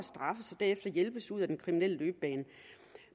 derefter hjælpes ud af den kriminelle løbebane